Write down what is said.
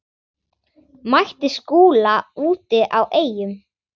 Mætti Skúla úti á Eyjum.